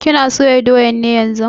Kana soya doyan ne yanzun?